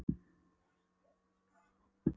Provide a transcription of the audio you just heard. En ég er sá eini sem sér spegilmynd mína.